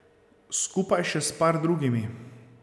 Skupaj še s par drugimi.